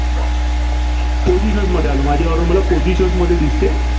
positions मध्ये आलो. माझी Order मला positions मध्ये दिसते.